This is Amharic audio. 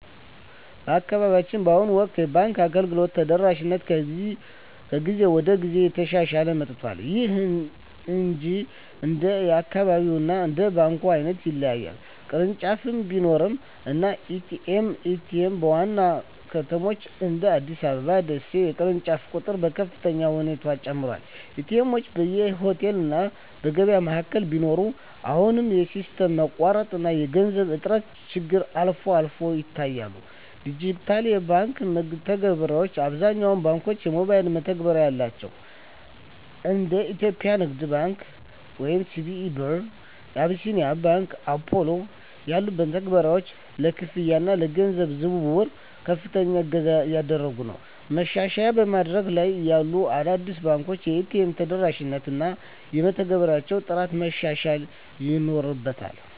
በአካባቢያችን በአሁኑ ወቅት የባንክ አገልግሎት ተደራሽነት ከጊዜ ወደ ጊዜ እየተሻሻለ መጥቷል። ይሁን እንጂ እንደየአካባቢው እና እንደ ባንኩ ዓይነት ይለያያል። ቅርንጫፍ ቢሮዎች እና ኤ.ቲ.ኤም (ATM): በዋና ዋና ከተሞች (እንደ አዲስ አበባ እና ደሴ) የቅርንጫፎች ቁጥር በከፍተኛ ሁኔታ ጨምሯል። ኤ.ቲ. ኤምዎች በየሆቴሉ እና የገበያ ማዕከላት ቢኖሩም፣ አሁንም የሲስተም መቋረጥ እና የገንዘብ እጥረት ችግሮች አልፎ አልፎ ይታያሉ። ዲጂታል የባንክ መተግበሪያዎች: አብዛኞቹ ባንኮች የሞባይል መተግበሪያ አላቸው። እንደ የኢትዮጵያ ንግድ ባንክ (CBE Birr) እና አቢሲኒያ ባንክ (Apollo) ያሉ መተግበሪያዎች ለክፍያ እና ለገንዘብ ዝውውር ከፍተኛ እገዛ እያደረጉ ነው። ማሻሻያ በማደግ ላይ ያሉ አዳዲስ ባንኮች የኤ.ቲ.ኤም ተደራሽነታቸውን እና የመተግበሪያዎቻቸውን ጥራት ማሻሻል ይኖርባ